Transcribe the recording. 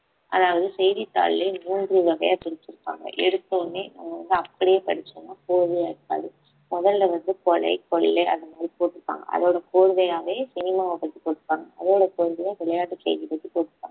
அதாவது செய்தித்தாள்லயே மூன்று வகையா பிரிச்சிருப்பாங்க எடுத்தவுடனே நம்ம வந்து அப்படியே படிச்சோம்ன்னா கோர்வையா இருக்காது முதல்ல வந்து கொலை கொள்ளை அந்த மாதிரி போட்டிருப்பாங்க அதோட கோர்வையாவே சினிமாவ பத்தி போட்ருப்பாங்க அதோட கோர்வையா விளையாட்டு செய்தி பத்தி போட்டிருப்பாங்க